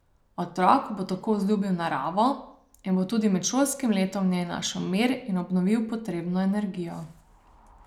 Otrok bo tako vzljubil naravo in bo tudi med šolskim letom v njej našel mir in obnovil potrebno energijo.